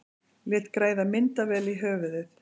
Lét græða myndavél í höfuðið